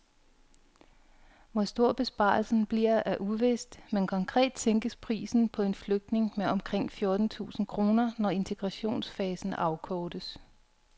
Hvor stor besparelsen bliver er uvist, men konkret sænkes prisen på en flygtning med omkring fjorten tusind kroner, når integrationsfasen afkortes.